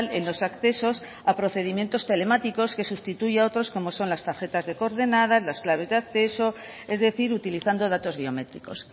en los accesos a procedimientos telemáticos que sustituye a otros como son las tarjetas de coordenadas las claves de acceso es decir utilizando datos biométricos